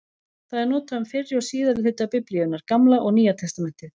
Það er notað um fyrri og síðari hluta Biblíunnar, Gamla og Nýja testamentið.